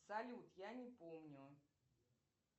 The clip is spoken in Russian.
салют я не помню